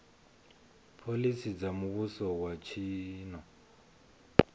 phoḽisi dza muvhuso wa tshino